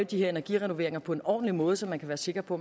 de her energirenoveringer på en ordentlig måde så man kan være sikker på